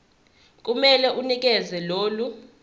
kumele unikeze lolu